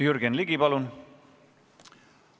Jürgen Ligi, palun!